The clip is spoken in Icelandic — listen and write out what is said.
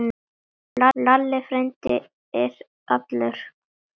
Lalli frændi er allur.